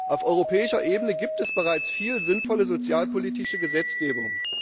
Auf europäischer Ebene gibt es bereits viel sinnvolle sozialpolitische Gesetzgebung.